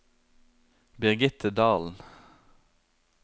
Birgitte Dahlen